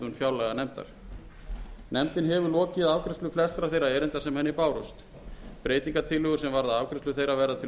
fjárlaganefndar nefndin hefur lokið afgreiðslu flestra þeirra erinda sem henni bárust breytingartillögur sem varða afgreiðslu þeirra verða til